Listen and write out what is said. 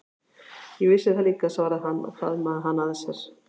Ég vissi það líka, svaraði hann og faðmaði hana að sér.